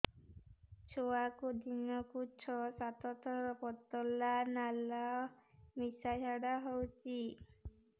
ଛୁଆକୁ ଦିନକୁ ଛଅ ସାତ ଥର ପତଳା ନାଳ ମିଶା ଝାଡ଼ା ହଉଚି